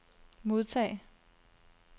modtag